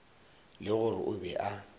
le gore o be a